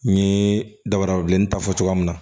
N ye dabarabileni ta fɔ cogoya min na